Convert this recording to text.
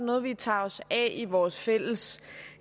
noget vi tager os af i vores fælles